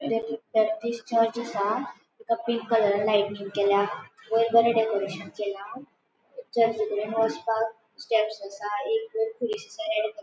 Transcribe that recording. ताची battery charge असा तक पिंक कलर लाइटिंग केला वयर बरे डेकोरेशन केला चर्च कडेन वसपाक स्टेप्स असा एक कुरिस असा --